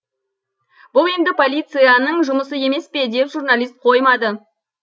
бұл енді полицияның жұмысы емес пе деп журналист қоймады